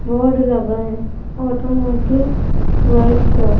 board लगा है automatic workshop --